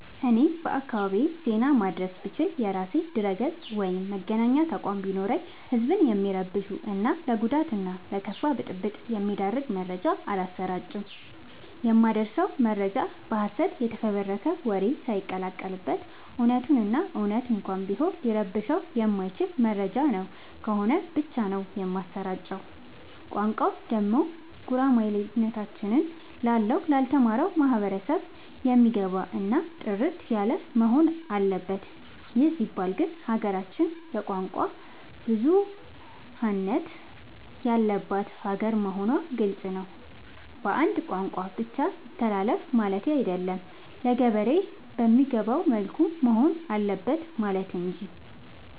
እኔ በአካባቢዬ ዜና ማድረስ ብችል። የራሴ ድረገፅ ወይም መገናኛ ተቋም ቢኖረኝ ህዝብን የሚረብሹ እና ለጉዳት እና ለከፋ ብጥብ የሚዳርግ መረጃ አላሰራጭም። የማደርሰው መረጃ በሀሰት የተፈበረከ ወሬ ሳይቀላቀል በት እውነቱን እና እውነት እንኳን ቢሆን ሊረብሸው የማይችል መረጃ ነው ከሆነ ብቻ ነው የማሰራጨው። ቋንቋው ደግሞ ጉራማይሌ ያሎነ ታች ላለው ላልተማረው ማህበረሰብ የሚገባ እና ጥርት ያለወሆን አለበት ይህ ሲባል ግን ሀገራችን የቋንቋ ብዙሀለት ያለባት ሀገር መሆኗ ግልፅ ነው። በአንድ ቋንቋ ብቻ ይተላለፍ ማለቴ አይደለም ለገበሬ በሚገባው መልኩ መሆን አለበት ማለት እንጂ።